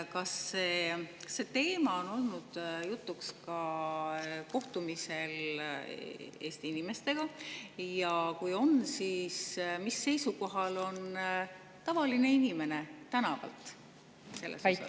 Kas see teema on ka olnud jutuks Eesti inimestega kohtumistel ja kui on, siis mis seisukohal on tavaline inimene tänavalt selles osas?